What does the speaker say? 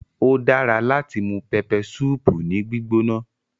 Ódara lati mu peppersupu ni gbigbona